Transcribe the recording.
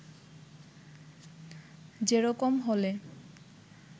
যে রকম হলে